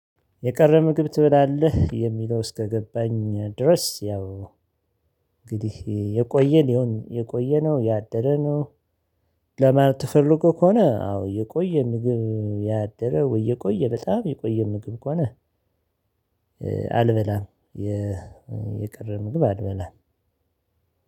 የቀረ ምግብ ትበላለህ የሚለው እስከገባኝ ድረስ ያው እንግዲህ የቆየ ሊሆን ይሁን የቆየ ነው ያደረ ነው። ለማለት ተፈልጎ ከሆነ አዎ የቆየ ምግብ ያደረ ወይ? የቆየ በጣም የቆየ ምግብ ከሆነ አልበላም። የቀረ ምግብ አልበላም።